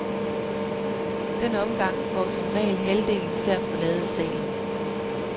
Den omgang får som regel halvdelen til at forlade salen.